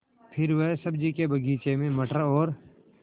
फिर वह सब्ज़ी के बगीचे में मटर और